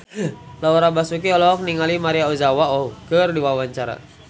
Laura Basuki olohok ningali Maria Ozawa keur diwawancara